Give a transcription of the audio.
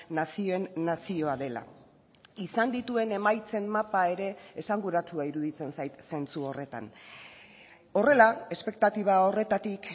nazioen nazioa dela izan dituen emaitzen mapa ere esanguratsua iruditzen zait zentzu horretan horrela espektatiba horretatik